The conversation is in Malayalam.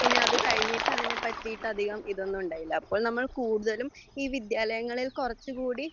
പിന്നെ അത് കഴിഞ്ഞിട്ട് അതിനെപ്പറ്റിയിട്ട് അതികം ഇതൊന്നുമുണ്ടായില്ല അപ്പോൾ നമ്മൾ കൂടുതലും ഈ വിദ്യാലയങ്ങളിൽ കൊറച്ച്കൂടി